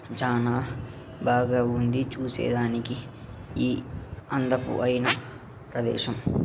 చానా బాగా ఉంది చూసేదానికి ఈ అందపు ఐన ప్రదేశం.